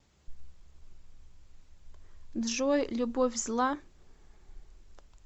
джой любовь зла